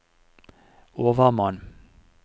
overmann